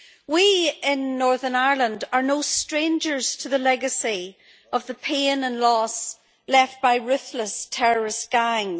We in Northern Ireland are no strangers to the legacy of the pain and loss left by ruthless terrorist gangs.